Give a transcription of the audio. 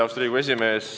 Austatud Riigikogu esimees!